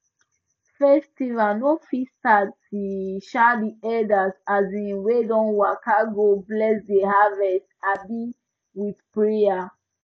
festival no fit start till um the elders um wey don waka go bless the harvest um with prayer